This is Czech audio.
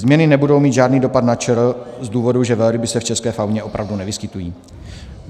Změny nebudou mít žádný dopad na ČR z důvodu, že velryby se v české fauně opravdu nevyskytují.